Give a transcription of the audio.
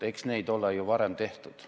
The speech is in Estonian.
Eks neid ole ju varemgi tehtud.